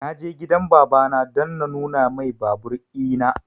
Na je gidan baba na don na nuna mai babur ina